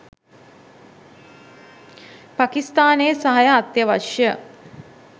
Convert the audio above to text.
පාකිස්තානයේ සහාය අත්‍යවශ්‍යය